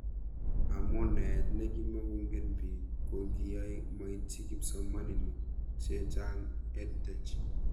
Amu naet ne kimukong'en pik ko kiyae maitchi kipsomanik chechang' EdTech